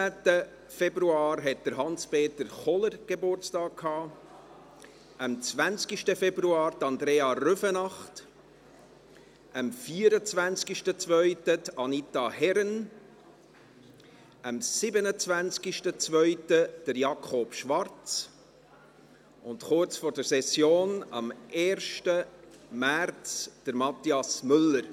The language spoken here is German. Am 19. Februar hatte Hans-Peter Kohler Geburtstag, am 20. Februar Andrea Rüfenacht, am 24. Februar Anita Herren, am 27. Februar Jakob Schwarz und – kurz vor der Session – am 1. März Mathias Müller.